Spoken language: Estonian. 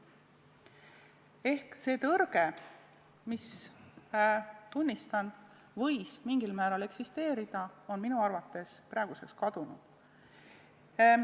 Ehk see tõrge, mis – tunnistan – võis mingil määral eksisteerida, on minu arvates praeguseks kadunud.